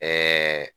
Ɛɛ